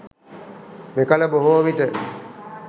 මෙකල බොහෝ විට